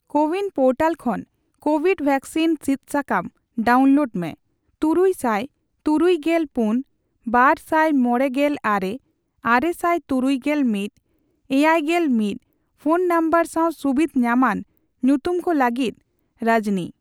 CoWIN portal ᱠᱷᱚᱱ Covid vaccine ᱥᱤᱫ ᱥᱟᱠᱟᱢ ᱰᱟᱣᱩᱱᱞᱳᱰ ᱢᱮ ᱛᱩᱨᱩᱭ ᱥᱟᱭ ᱛᱩᱨᱩᱭ ᱜᱮᱞ ᱯᱩᱱ, ᱵᱟᱨ ᱥᱟᱭ ᱢᱚᱲᱮ ᱜᱮᱞ ᱟᱨᱮ ,ᱟᱨᱮ ᱥᱟᱭ ᱛᱩᱨᱩᱭ ᱜᱮᱞ ᱢᱤᱛ ,ᱮᱭᱟᱭ ᱜᱮᱞ ᱢᱤᱛ ᱯᱷᱚᱱ ᱱᱚᱢᱵᱚᱨ ᱥᱟᱣ ᱥᱩᱵᱤᱫᱷ ᱧᱟᱢᱟᱱ ᱧᱩᱛᱩᱢ ᱠᱚ ᱞᱟᱹᱜᱤᱫ ᱨᱟᱡᱱᱤ ᱾